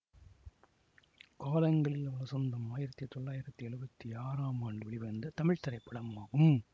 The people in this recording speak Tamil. காலங்களில் அவள் வசந்தம் ஆயிரத்தி தொளாயிரத்தி எழுபத்தி ஆறாம் ஆண்டு வெளிவந்த தமிழ் திரைப்படமாகும்